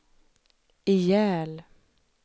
ihjäl